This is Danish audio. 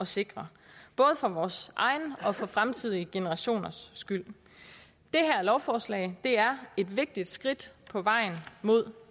sikre både for vores egen og for fremtidige generationers skyld det her lovforslag er et vigtigt skridt på vejen mod